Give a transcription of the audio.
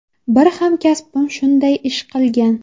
Bir hamkasbim shunday ish qilgan.